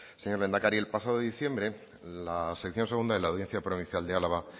señor lehendakari el pasado diciembre la sección segunda de la audiencia provincial de álava